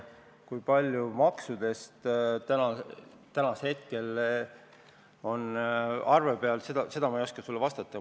Seda, kui suur osa maksudest täna on arve peal, ei oska ma sulle öelda.